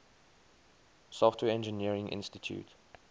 software engineering institute